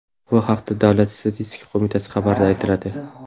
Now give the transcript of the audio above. Bu haqda Davlat statistika qo‘mitasi xabarida aytiladi .